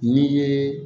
N'i ye